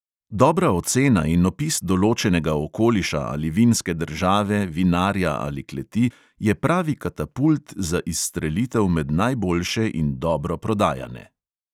Dobra ocena in opis določenega okoliša ali vinske države, vinarja ali kleti je pravi katapult za izstrelitev med najboljše in dobro prodajane.